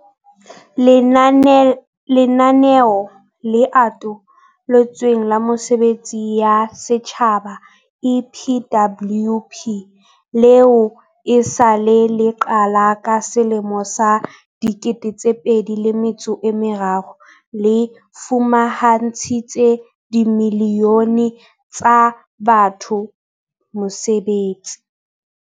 Lenaneo le Ato lotsweng la Mesebetsi ya Setjhaba, EPWP, leo e sa le le qala ka selemo sa 2003, le fumantshitse dimilione tsa batho mesebetsi.